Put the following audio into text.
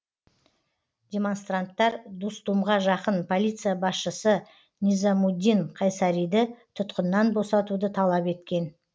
демонстранттар дустумға жақын полиция басшысы низамуддин қайсариді тұтқыннан босатуды талап еткен